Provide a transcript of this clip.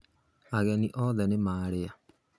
Ageni othe nĩ marĩa